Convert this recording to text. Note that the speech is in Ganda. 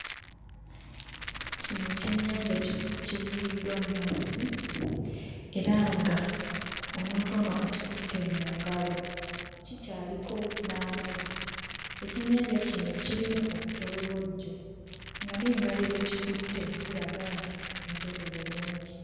Kino ekyennyanja ki kivubiddwa mmazzi era nga omuntu ono akikutte mu ngalo. Kikyaliko n'amazzi. Ekyennyanja kino kirimu obutolobojjo nga n'engalo ezikikutte ziraga nti njeru bulungi.